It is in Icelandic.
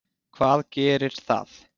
Hvað gerir það?